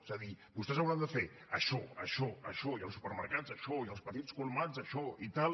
és a dir vostès hauran de fer això això això i els supermercats això i els petits colmats això i tal